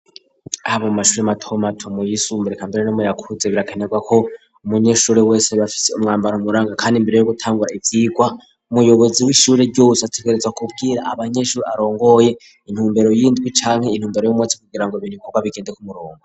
Haba mu mashuri mato mato nayumbuye kambere no muyakuze birakanerwa ko umunyeshuri wese bafise umwambaro m ranga kandi imbere yo gutangura ivyirwa umuyobozi w'ishuri ryose ategareza kubwira abanyeshuri arongoye intumbero yindwi canke intumbero y'umuntsi kugira ngo bintu bikobwa bigende kumurongo.